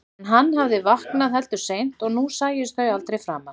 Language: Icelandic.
En hann hafði vaknað heldur seint og nú sæjust þau aldrei framar.